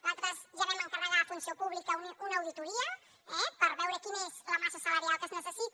nosaltres ja vam encarregar a funció pública una auditoria eh per veure quina és la massa salarial que es necessita